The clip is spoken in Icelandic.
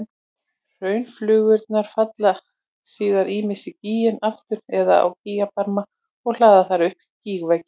Hraunflygsurnar falla síðan ýmist í gíginn aftur eða á gígbarmana og hlaða þar upp gígveggi.